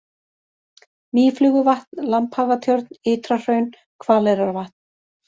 Mýfluguvatn, Lambhagatjörn, Ytrahraun, Hvaleyrarvatn